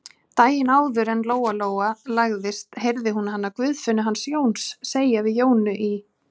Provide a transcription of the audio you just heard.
Daginn áður en Lóa-Lóa lagðist heyrði hún hana Guðfinnu hans Jóns segja við Jónu í